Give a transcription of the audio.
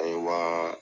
A ye wa